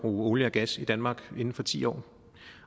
olie og gas i danmark inden for ti år